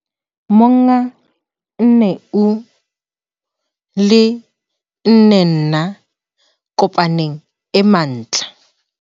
Monga 4 U and 4 Me Primary Cooperative